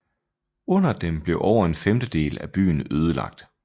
Under dem blev over en femtedel af byen ødelagt